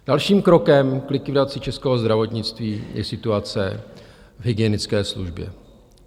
Dalším krokem k likvidaci českého zdravotnictví je situace v hygienické službě.